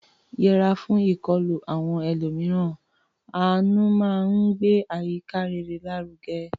Yẹra fún ìkọlù àwọn ẹlòmíràn; àánú máa ń gbé àyíká rere lárugẹ.